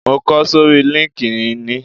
Mo kọ sórí líńki-inì